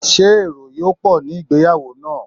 Ṣé èrò yó pọ̀ ní ìgbéyàwó náà?